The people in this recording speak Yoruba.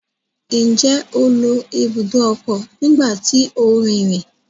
Njẹ o lo ibùdó ọkọ nígbà tí o nrinrin?